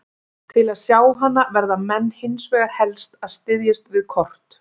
Til að sjá hana verða menn hins vegar helst að styðjast við kort.